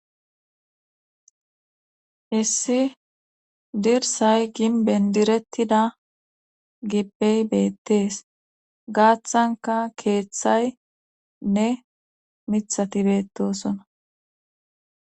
Hissi dirsay gin bendirettida gippey beettees gaaththanka keeththay nne mithati beettosona.